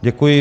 Děkuji.